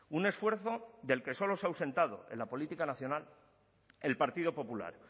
un esfuerzo del que solo se ha ausentado en la política nacional el partido popular